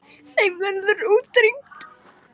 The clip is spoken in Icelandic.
Þeim verður útrýmt.